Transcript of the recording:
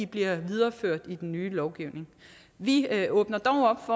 bliver videreført i den nye lovgivning vi åbner dog op